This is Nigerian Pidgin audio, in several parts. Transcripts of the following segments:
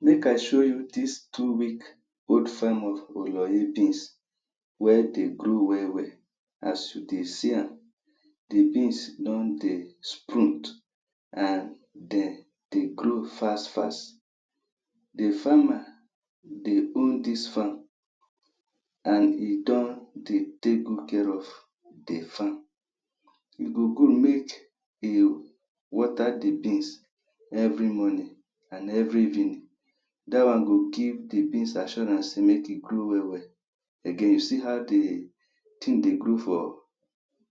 Make I show you dis two week wey dey grow well well as you dey see am di beans don dey sprute and de dey grow fast fast. Di farmer dey own dis farm and e don dey take good care of di farm. E go good make you water di beans evri morning and evri evening dat one go give di beans assuarance say make e grow well well again you see how di tin dey grow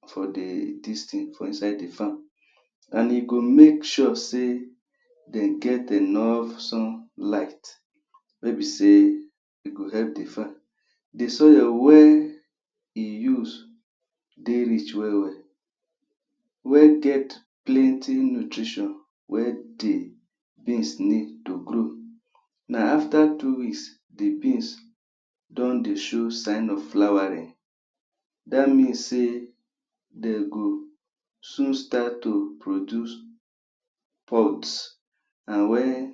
for di dis tin, for inside di farm and e go make sure say dem get enough sunlight. wey be say e go help di farm di soil wey e use dey rich wel wel wey get plenty nutrition wey di beans need to grow na afta two weeks di beans don dey show sign of flowering dat mean sey dey go soon start to produce pulps. and wen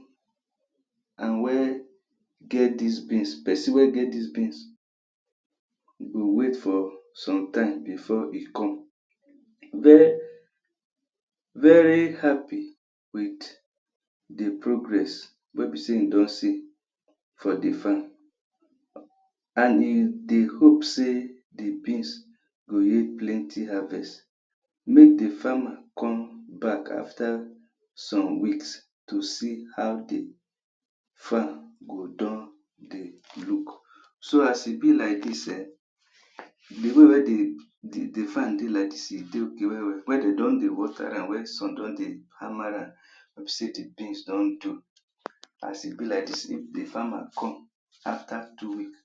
and wia get dis beans, pesin wey get dis beans go wait for some times bifor e come vey very happy wit di progress wey bi say im don see for di farm and hin dey hope say di beans go yield plenty harvest make di farmer come back back afta some weeks. to see how di farm go don look. so as e bi like dis[um]di way wey di di di farmer dey like dis e dey wel wel, wen dem don dey water am wey sun don dey hammer am wey be say di beans don do as e bi like dis if di farmer come afta two weeks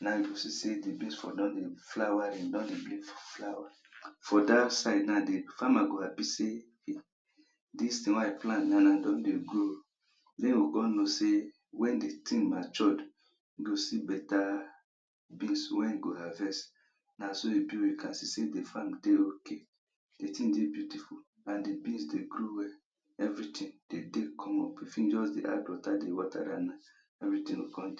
na im you go see say di beans for don flowering don dey remove flower don for dat side na dey farmer go happy say dis tin wey i plant na na don dey grow den you go come know say wen di tin matured you go see beta beans wey im go harvest na so e bi wen you can see say di farm dey ok di tin dey beautiful and di beans dey grow evri tin dey dey come up if im just dey add water dey water am na evri tin go come dey